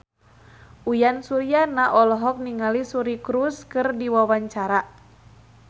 Uyan Suryana olohok ningali Suri Cruise keur diwawancara